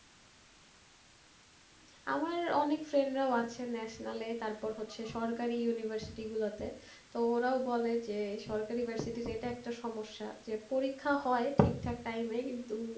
আমার অনেক friend রাও আছে national এ তারপর হচ্ছে সরকারি university গুলোতে, তো ওরাও বলে যে সরকারি varsity তে এটা একটা সমস্যা যে পরীক্ষা হয় ঠিকঠাক time এ কিন্তু,